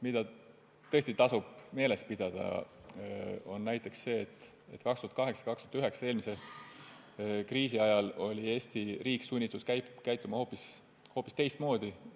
Mida tõesti tasub meeles pidada, on näiteks see, et 2008–2009, eelmise kriisi ajal oli Eesti riik sunnitud käituma hoopis teistmoodi.